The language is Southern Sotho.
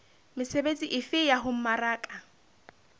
mesebetsi efe ya ho mmaraka